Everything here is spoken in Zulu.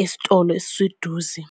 esitolo esiseduze.